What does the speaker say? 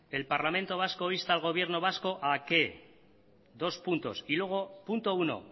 el parlamento vasco insta al gobierno vasco a qué dos puntos y luego punto uno